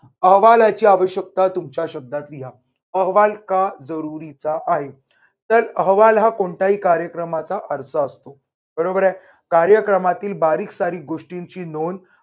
अहवालाची आवश्यकता तुमच्या शब्दात लिहा. अहवाल का जरुरीचा आहे? तर अहवाल हा कोणत्याही कार्यक्रमाचा अर्ज असतो. बरोबर आहे. कार्यक्रमातील बारीक सारीक गोष्टींची नोंद